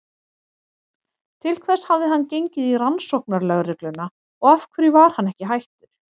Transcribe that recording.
Til hvers hafði hann gengið í Rannsóknarlögregluna og af hverju var hann ekki hættur?